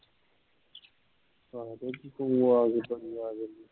ਤਾਂ ਕੀ ਸੀ ਤੂੰ ਆ ਕੇ